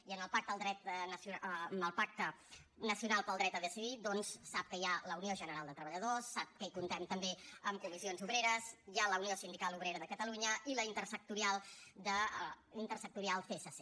i en el pacte nacional pel dret a decidir doncs sap que hi ha la unió general de treballadors sap que comptem també amb comissions obreres hi ha la unió sindical obrera de catalunya i la intersindical csc